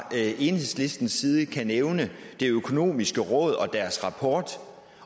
enhedslistens side godt kan nævne det økonomiske råd og deres rapport